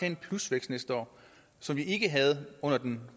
en plusvækst næste år som vi ikke havde under den